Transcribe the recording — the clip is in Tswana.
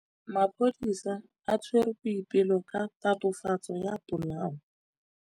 Maphodisa a tshwere Boipelo ka tatofatsô ya polaô.